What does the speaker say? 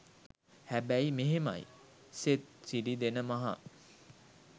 හැබැයි මෙහෙමයි." සෙත් සිරි දෙන මහ"